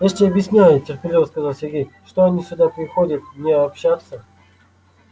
я же тебе объясняю терпеливо сказал сергей что они сюда приходят не общаться